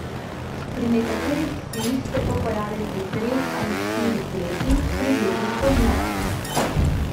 Pri nekaterih psih se to pojavi pri treh ali štirih letih, pri drugih pozneje.